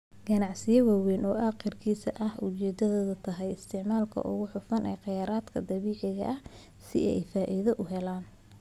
Ganacsiyo waaweyn oo agriis ah ayaa ujeedadoodu tahay isticmaalka ugu hufan ee khayraadka dabiiciga ah si ay faa'iido u helaan.